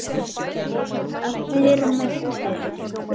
Breki: Allir með tölu?